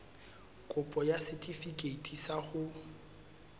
kopo ya setefikeiti sa ho